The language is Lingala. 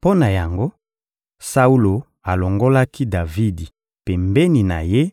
Mpo na yango, Saulo alongolaki Davidi pembeni na ye